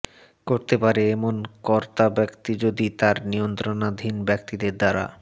করতে পারে এমন কর্তাব্যক্তি যদি তার নিয়ন্ত্রণাধীন ব্যক্তিদের দ্বারা